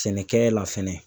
Sɛnɛkɛ la fɛnɛ